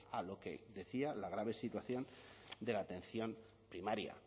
a lo que decía la grave situación de la atención primaria